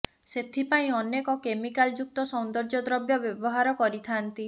ସେଥିପାଇଁ ଅନେକ କେମିକାଲ ଯୁକ୍ତ ସୌନ୍ଦର୍ଯ୍ୟ ଦ୍ରବ୍ୟ ବ୍ୟବହାର କରି ଥାଆନ୍ତି